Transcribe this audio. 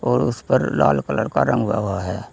और उसपर लाल कलर का रंग लगा है।